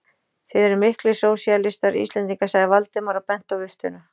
Þið eruð miklir sósíalistar, Íslendingar sagði Valdimar og benti á viftuna.